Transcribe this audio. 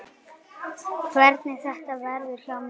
Hvernig þetta verði hjá mér.